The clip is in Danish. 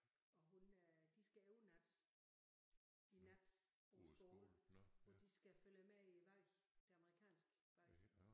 Og hun øh de skal overnatten i nat på skolen hvor de skal følge med i valget det amerikanske valg